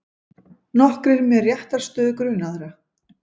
Nokkrir með réttarstöðu grunaðra